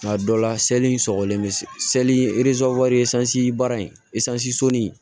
Nka dɔ la seli sɔgɔlen bɛ se baara in so ni